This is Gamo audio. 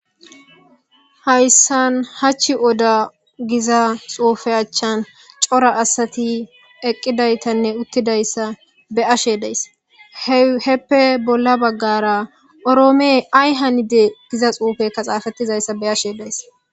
hayssan hachchi oda giza xuufe achchan cora asati eqqidaytanne uttidayssa be ashe dayss heppe bolla baggara oroome ay hanide giza xuufekka xaafettizayssa be ashe dayss